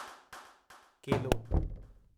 केलो